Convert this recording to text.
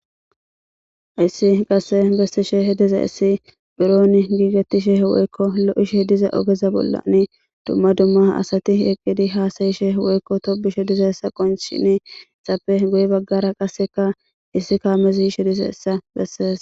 Issi qasse gestishe he diza issi buron giigetishe hewoykko lo'ishe diza ogeza bollani dumma dumma asati eqqidi haasayishe hewoykko tobishe diza essa qonchini xappe goye baggara qasseka issi kaamezishe dise essa besses.